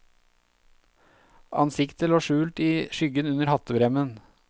Ansiktet lå skjult i skyggen under hattebremmen.